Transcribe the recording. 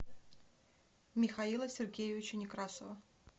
михаила сергеевича некрасова